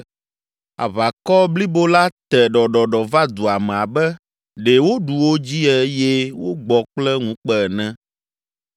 Aʋakɔ blibo la te ɖɔɖɔɖɔ va dua me abe ɖe woɖu wo dzi eye wogbɔ kple ŋukpe ene.